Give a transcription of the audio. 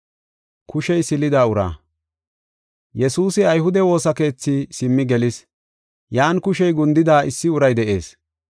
Yesuusi ayhude woosa keethi simmi gelis. Yan kushey gundida issi uray de7ees.